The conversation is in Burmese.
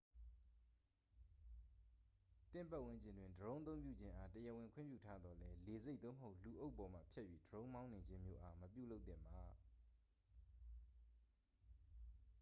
သင့်ပတ်ဝန်းကျင်တွင် ဒရုန်းအသုံးပြုခြင်းအား တရားဝင် ခွင့်ပြုထားသော်လည်း လေဆိပ် သို့မဟုတ် လူအုပ်ပေါ်မှဖြတ်၍ ဒရုန်းမောင်းနှင်ခြင်းမျိုးအား မပြုလုပ်သင့်ပါ